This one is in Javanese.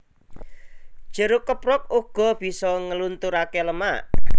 Jeruk keprok uga bisa nglunturaké lemak